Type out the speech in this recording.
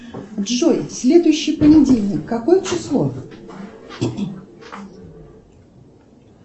джой следующий понедельник какое число